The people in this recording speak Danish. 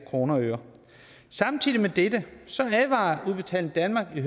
kroner og øre samtidig med dette advarer udbetaling danmark i